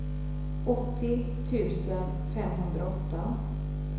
åttio tusen femhundraåtta